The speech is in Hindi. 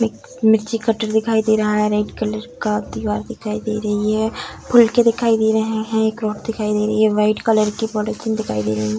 मिर्ची कटर दिखाई दे रहा है रेड कलर का दीवार दिखाई दे रही है फुल के दिखाई दे रहे है क्रौप दिखाई दे रही है व्हाइट कलर के पॉलीथिन दिखाई दे रही है।